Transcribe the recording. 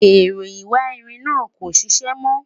èrò ìwà ìrìn nà kò ṣiṣẹ mo